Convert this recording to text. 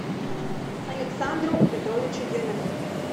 александру петровичу демину